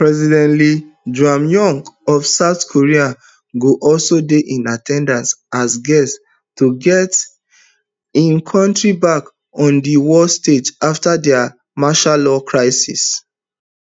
president lee jaemyung of south koreago also dey in at ten dance as guest to get im kontri back on di world stage afta dia martiallaw crisis